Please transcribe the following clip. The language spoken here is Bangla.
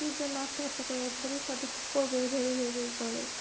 এরকম চাকরির জন্য আত্মহত্যা করে ভিবিসৎ এ কি করবো এই ভেবে ভেবেই করে,